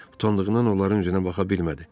Utandığından onların üzünə baxa bilmədi.